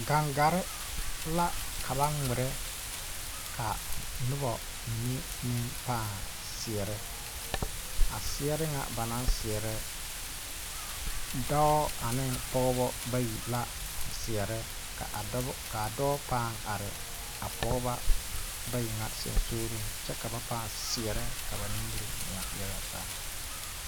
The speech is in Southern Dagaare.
Gaŋgarre la ka ba ngmirɛ ka nobɔ mine meŋ pãã seɛrɛ a sɛɛre ŋa ba naŋ seɛrɛ dɔɔ aneŋ pɔgebɔ bayi la seɛrɛ ka a dɔbɔ kaa dɔɔ pãã are a pɔɔbɔ bayi ŋa seŋsugliŋ kyɛ ka ba pãã seɛrɛ ka ba nimire muo yaga zaa.